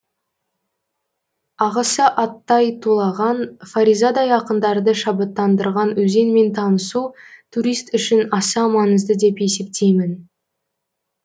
ағысы аттай тулаған фаризадай ақындарды шабыттандырған өзенмен танысу турист үшін аса маңызды деп есептеймін